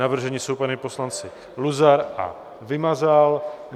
Navrženi jsou páni poslanci Luzar a Vymazal.